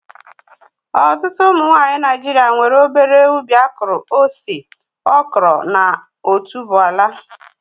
Ọtụtụ ụmụ nwanyị Naijiria nwere obere ubi akụrụ ose, okro na otuboala